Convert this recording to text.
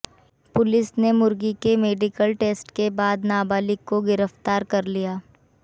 police ने मुर्गी के मेडिकल टेस्ट के बाद नाबालिग को गिरफ्तार कर लिया